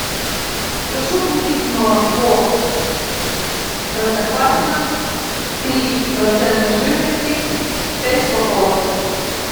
прошу купить молоко простоквашино три процента жирности пять упаковок